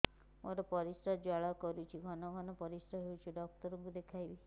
ମୋର ପରିଶ୍ରା ଜ୍ୱାଳା କରୁଛି ଘନ ଘନ ପରିଶ୍ରା ହେଉଛି ଡକ୍ଟର କୁ ଦେଖାଇବି